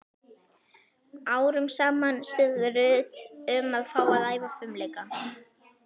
Árum saman suðaði Ruth um að fá að æfa fimleika.